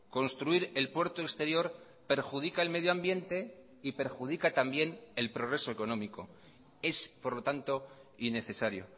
construir el puerto exterior perjudica el medio ambiente y perjudica también el progreso económico es por lo tanto innecesario